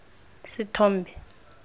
sethombe